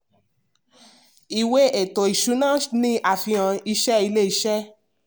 ìwé ètò ìsúná ni àfihàn ìṣe ilé iṣẹ́.